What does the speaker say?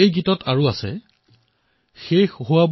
সেই গীতটোতেই আগলৈ গোৱা হোৱা